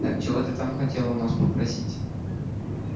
так чего ты там хотел у нас попросить